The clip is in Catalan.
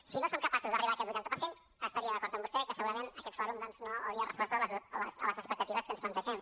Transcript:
si no som capaços d’arribar a aquest vuitanta per cent estaria d’acord amb vostè que segurament aquest fòrum no hauria respost a les expectatives que ens plantegem